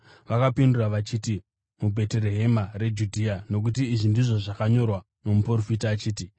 Vakapindura vachiti, “MuBheterehema reJudhea nokuti izvi ndizvo zvakanyorwa nomuprofita achiti: